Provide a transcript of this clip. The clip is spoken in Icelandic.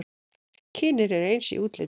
Kynin eru eins í útliti.